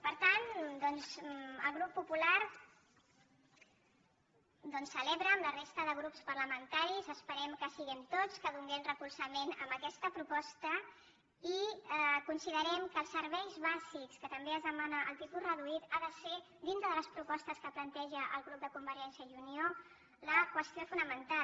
per tant doncs el grup popular celebra amb la resta de grups parlamentaris esperem que siguem tots que donem suport a aquesta proposta i considerem que els serveis bàsics als quals també es demana el tipus reduït ha de ser dintre de les propostes que planteja el grup de convergència i unió la qüestió fonamental